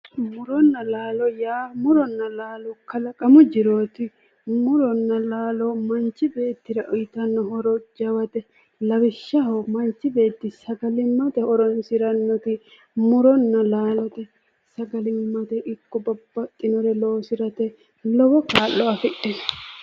Muronna laalo:-muronna laalo yaa kalaqamu jirootti muronna laalo manchi beettira uuyitanno horo lowote lawishshaho manchi beetti sagalimmate horoonsirrannotti muronna laalote sagalimmate ikko babaxinnore loosirate lowo kaa'lo afidhinnote